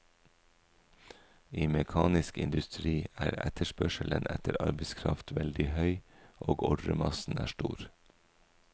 I mekanisk industri er etterspørselen etter arbeidskraft veldig høy, og ordremassen er stor.